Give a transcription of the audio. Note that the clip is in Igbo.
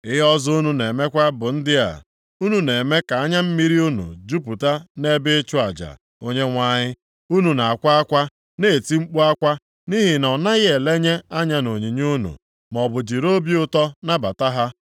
Ihe ọzọ unu na-emekwa bụ ndị a: unu na-eme ka anya mmiri unu jupụta nʼebe ịchụ aja Onyenwe anyị. Unu na-akwa akwa, na-eti mkpu akwa nʼihi na ọ naghị elenye anya nʼonyinye unu, maọbụ jiri obi ụtọ nabata ha.